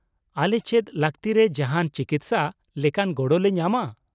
ᱟᱞᱮ ᱪᱮᱫ ᱞᱟᱹᱠᱛᱤᱨᱮ ᱡᱟᱦᱟᱱ ᱪᱤᱠᱤᱥᱥᱟᱼ ᱞᱮᱠᱟᱱ ᱜᱚᱲᱚ ᱞᱮ ᱧᱟᱢᱟ ?